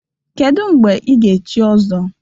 Kedu mgbe ị ga-echi Ọzọ?